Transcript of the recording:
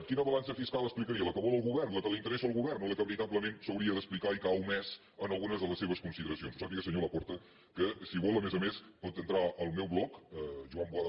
quina balança fiscal explicaria la que vol el govern la que li interessa al govern o la que veritablement s’hauria d’explicar i que ha omès en algunes de les se·ves consideracions ho sàpiga senyor laporta que si vol a més a més pot entrar al meu bloc joanboada